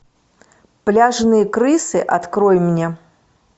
пляжные крысы открой мне